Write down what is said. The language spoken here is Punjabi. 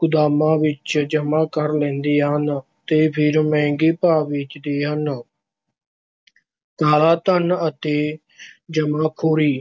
ਗੁਦਾਮਾਂ ਵਿੱਚ ਜਮ੍ਹਾ ਕਰ ਲੈਂਦੇ ਹਨ ਤੇ ਫਿਰ ਮਹਿੰਗੇ ਭਾਅ ਵੇਚਦੇ ਹਨ। ਕਾਲਾ ਧਨ ਅਤੇ ਜਮ੍ਹਾਖ਼ੋਰੀ-